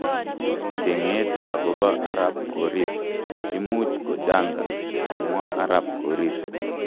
Chenget agopa arap korir,"imuch ko janga,"kamwa arap korir.